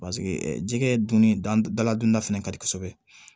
jɛgɛ dun daladonna fana ka di kosɛbɛ